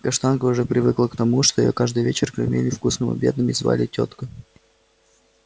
каштанка уже привыкла к тому что её каждый вечер кормили вкусным обедом и звали тёткой